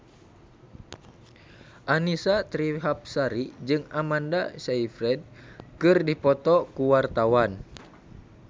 Annisa Trihapsari jeung Amanda Sayfried keur dipoto ku wartawan